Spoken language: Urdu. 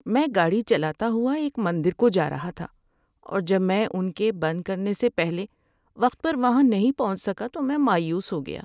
میں گاڑی چلاتا ہوا ایک مندر کو جا رہا تھا اور جب میں ان کے بند کرنے سے پہلے وقت پر وہاں نہیں پہنچ سکا تو میں مایوس ہو گیا۔